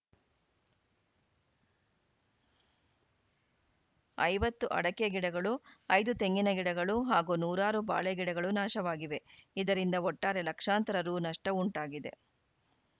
ಐವತ್ತು ಅಡಕೆ ಗಿಡಗಳು ಐದು ತೆಂಗಿನಗಿಡಗಳು ಹಾಗೂ ನೂರಾರು ಬಾಳೆ ಗಿಡಗಳು ನಾಶವಾಗಿವೆ ಇದರಿಂದ ಒಟ್ಟಾರೆ ಲಕ್ಷಾಂತರ ರು ನಷ್ಟಉಂಟಾಗಿದೆ